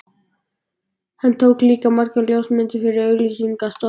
Hann tók líka margar ljósmyndir fyrir auglýsingastofur.